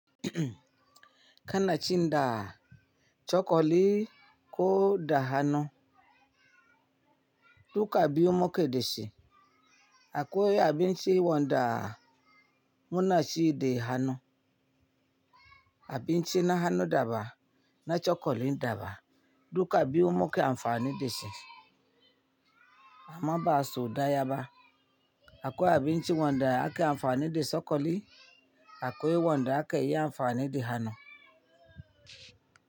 Kanacin da, cokali ko da hannu, duka biyu muke da shi. Akwai abin ci wanda munaci da hannu, abin ci na hannu daban na cokali daban duka biyu muke amfani da shi. Amma ba sau ɗaya ba. Akwai abin ci wanda ake amfani da cokali akwai wanda ake yi amfani da hannu.